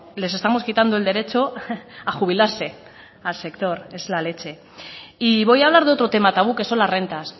les estamos quitando el derecho a jubilarse al sector es la leche y voy a hablar de otro tema tabú que son las rentas